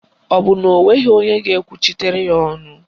Ọ bụ na o nweghị onye ga-ekwuchitere ya ọnụ